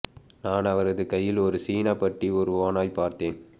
நான் அவரது கையில் ஒரு சீன பட்டி ஒரு ஓநாய் பார்த்தேன்